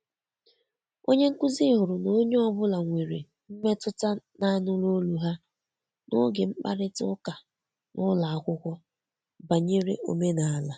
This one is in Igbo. Onye nkuzi hụrụ na onye ọ bụla nwere mmetụta na anụrụ ọlụ ha n'oge mkparịta ụka n'ụlọ akwụkwọ banyere omenala.